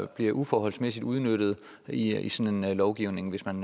bliver uforholdsmæssigt udnyttet i sådan en lovgivning hvis man